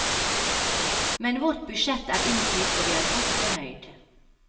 Men vårt budsjett er innfridd og vi er godt fornøyd.